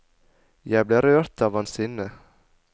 Jeg ble rørt av hans sinne.